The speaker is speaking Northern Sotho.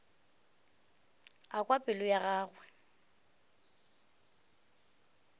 a kwa pelo ya gagwe